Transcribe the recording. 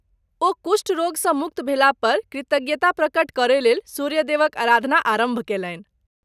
ओ कुष्ठ रोगसँ मुक्त भेलापर कृतज्ञता प्रकट करयलेल सूर्य देवक आराधना आरम्भ कयलनि।